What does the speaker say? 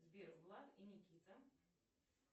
сбер влад и никита